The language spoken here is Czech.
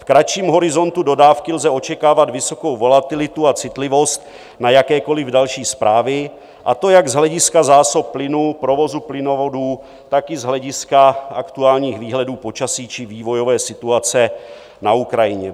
V kratším horizontu dodávky lze očekávat vysokou volatilitu a citlivost na jakékoliv další zprávy, a to jak z hlediska zásob plynu, provozu plynovodů, tak i z hlediska aktuálních výhledů počasí či vývojové situace na Ukrajině.